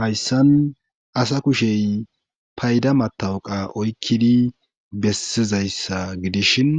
Hayssan asa kushey payda matawuqa oykkidi bessizayssa gidishin